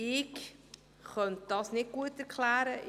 – Ich könnte das jedenfalls nicht so gut erklären.